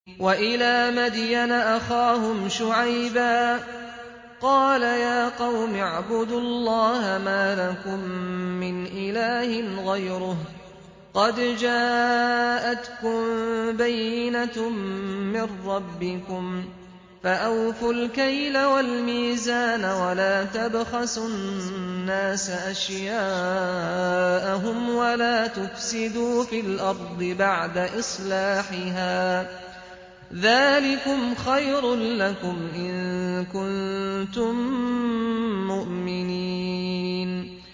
وَإِلَىٰ مَدْيَنَ أَخَاهُمْ شُعَيْبًا ۗ قَالَ يَا قَوْمِ اعْبُدُوا اللَّهَ مَا لَكُم مِّنْ إِلَٰهٍ غَيْرُهُ ۖ قَدْ جَاءَتْكُم بَيِّنَةٌ مِّن رَّبِّكُمْ ۖ فَأَوْفُوا الْكَيْلَ وَالْمِيزَانَ وَلَا تَبْخَسُوا النَّاسَ أَشْيَاءَهُمْ وَلَا تُفْسِدُوا فِي الْأَرْضِ بَعْدَ إِصْلَاحِهَا ۚ ذَٰلِكُمْ خَيْرٌ لَّكُمْ إِن كُنتُم مُّؤْمِنِينَ